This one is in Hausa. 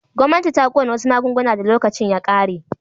Gwamnati ta kona wasu magunguna da lokacin ya ƙare.